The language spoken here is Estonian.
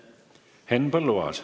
Henn Põlluaas.